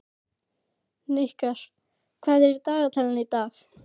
Hnikar, hvað er í dagatalinu í dag?